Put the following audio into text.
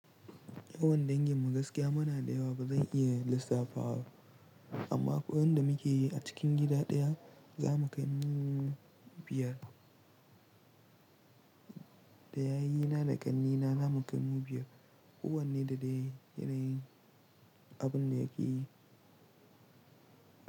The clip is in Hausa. Yawan dangin mu gaskiya mana da yawa ba zan iya lissafawa ba amma kuwan da muke yi a cikin gida daya za mu kai mu biyar. Da yayina da kannina za mu kai mu biyar. Kuwan ne da yana yin abun da yake yi.